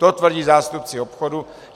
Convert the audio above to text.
To tvrdí zástupci obchodu.